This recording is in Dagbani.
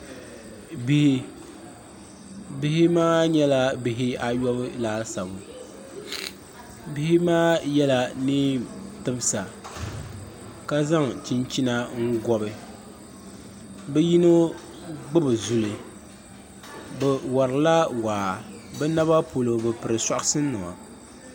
Bihi bihi maa nyɛla bihi ayobu laasabu bihi maa yɛla neen timsa ka zaŋ chinchina n gobi bi yino gbubi zuli bi warila waa bi naba polo bi piri soɣa shini nima